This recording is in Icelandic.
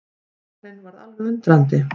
Bakarinn varð alveg undrandi.